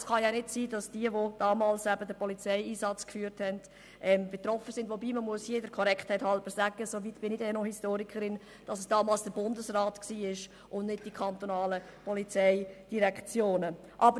Es kann ja nicht sein, dass diejenigen, die damals den Polizeieinsatz führten, betroffen sind, wobei man hier der Korrektheit halber sagen muss – soweit bin ich dann noch Historikerin –, dass es damals der Bundesrat und nicht die kantonalen Polizeidirektionen waren.